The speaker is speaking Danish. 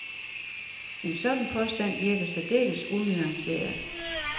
En sådan påstand virker særdeles unuanceret.